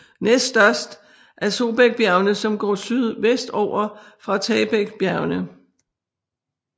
Næst størst er Sobaekbjergene som går sydvestover fra Taebaekbjergene